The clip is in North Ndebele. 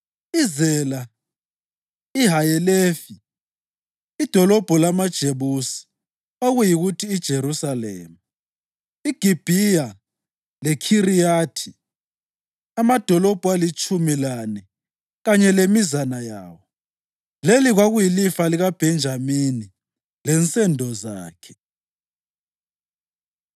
iZela, iHayelefi, idolobho lamaJebusi (okuyikuthi iJerusalema), iGibhiya leKhiriyathi, amadolobho alitshumi lane kanye lemizana yawo. Leli kwakuyilifa likaBhenjamini lensendo zakhe.